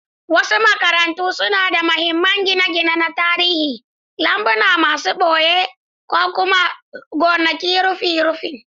Wasu makarantu suna da mahimman gine-gine na tarihi, lambuna masu ɓoye, ko ma gonakin rufin rufin!